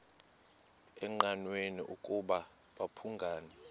engqanweni ukuba babhungani